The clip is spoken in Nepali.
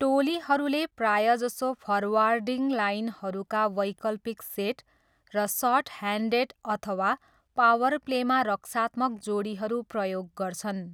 टोलीहरूले प्रायजसो फर्वार्डिङ लाइनहरूका वैकल्पिक सेट र सर्टह्यान्डेड अथवा पावर प्लेमा रक्षात्मक जोडीहरू प्रयोग गर्छन्।